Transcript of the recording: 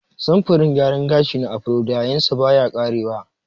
Samfurin gyaran gashi na Afro da yayinsa baya ƙarewa.